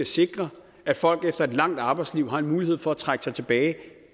sikre at folk efter et langt arbejdsliv har en mulighed for at trække sig tilbage